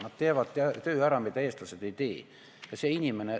Nad teevad ära töö, mida eestlased ise ei tee.